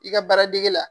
I ka baaradege la